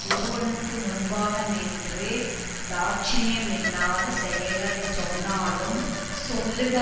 ஒருவனுக்கு முன்பாக நின்று தாட்சண்யமில்லாத செயல்களை சொன்னாலும் சொல்லுக